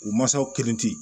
U mansaw kelen tɛ